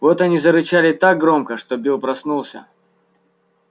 вот они зарычали так громко что билл проснулся